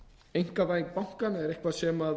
einkavæðing bankanna er eitthvað sem